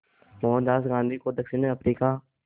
मोहनदास गांधी को दक्षिण अफ्रीका